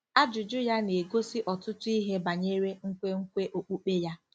Ajụjụ ya na-egosi ọtụtụ ihe banyere nkwenkwe okpukpe ya.